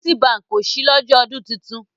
Citibank o ṣí lọ́jọ́ ọdún titun.